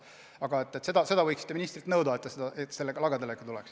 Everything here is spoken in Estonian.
Aga võiksite ministrilt nõuda, et ta sellega lagedale tuleks.